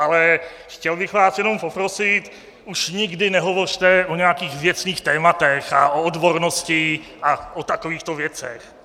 Ale chtěl bych vás jenom poprosit, už nikdy nehovořte o nějakých věcných tématech a o odbornosti a o takovýchto věcech.